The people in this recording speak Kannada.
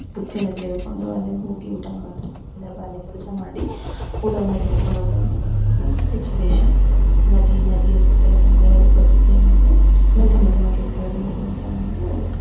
ಬುತ್ತಿಯನ್ನು ತೆಗೆದುಕೊಂಡು ಅಲ್ಲಿ ಹೋಗಿ ಊಟ ಮಾಡೋ ಸಂದರ್ ಬಾ ಅಲ್ಲಿ ಕೆಲಸ ಮಾಡಿ ಊಟವನ್ನು ತೆಗೆದುಕೊಂಡು ಅದು ಸಿಚುವೇಶನ್ ನದಿ ನದಿಯ ಸುತ್ತ ಸೌಂದರ್ಯದ ಪ್ರ ಪ್ರಕೃತಿಯ ಮುಂದೆ ತಮ್ಮ ತಮ್ಮ ಕೆಲಸಕ್ಕೆ ಹೋಗುವ ಒಂದು--